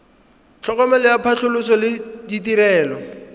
tlhokomelo ya phatlhoso le ditirelo